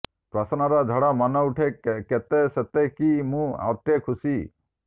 ପ୍ରଶ୍ନର ଝଡ଼ ମନେଉଠେ କେତେ ସତେ କି ମୁଁ ଅଟେ ଖୁସି